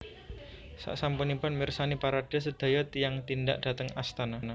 Saksampunipun mirsani parade sedaya tiyang tindak dhateng astana